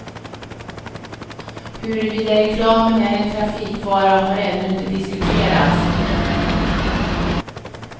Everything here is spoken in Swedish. Huruvida reklamen är en trafikfara har ännu inte diskuterats.